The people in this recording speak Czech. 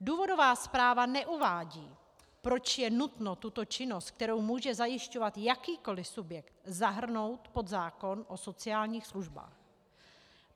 Důvodová zpráva neuvádí, proč je nutno tuto činnost, kterou může zajišťovat jakýkoli subjekt, zahrnout pod zákon o sociálních službách.